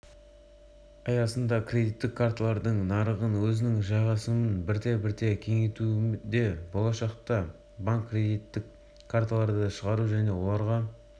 аясында кредиттік карталардың нарығында өзінің жайғасымын бірте-бірте кеңейтуде болашақта банк кредиттік карталарды шығару және оларға